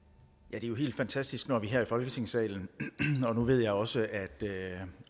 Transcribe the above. er jo helt fantastisk når vi her i folketingssalen og nu ved jeg også at